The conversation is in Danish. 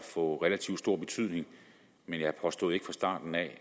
få relativt stor betydning men jeg påstod ikke fra starten af at